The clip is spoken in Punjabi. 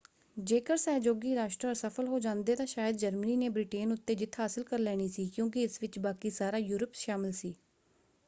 ਜੇਕਰ ਸਹਿਯੋਗੀ ਰਾਸ਼ਟਰ ਅਸਫਲ ਹੋ ਜਾਂਦੇ ਤਾਂ ਸ਼ਾਇਦ ਜਰਮਨੀ ਨੇ ਬ੍ਰਿਟੇਨ ਉੱਤੇ ਜਿੱਤ ਹਾਸਲ ਕਰ ਲੈਣੀ ਸੀ ਕਿਉਂਕਿ ਇਸ ਵਿੱਚ ਬਾਕੀ ਸਾਰਾ ਯੂਰਪ ਸ਼ਾਮਲ ਸੀ।